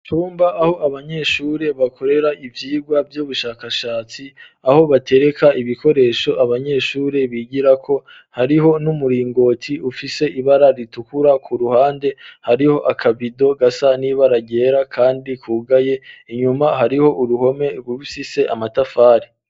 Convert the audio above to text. Icumba aho abanyeshuri bakorera ivyirwa vy'ubushakashatsi aho batereka ibikoresho abanyeshuri bigirako hariho n'umuringoti ufise ibara ritukura ku ruhande hariho akabido gasa n'ibaragera kandi kugaye inyuma hariho uruhome rufise amatafari